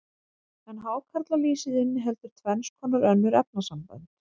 en hákarlalýsið inniheldur tvenns konar önnur efnasambönd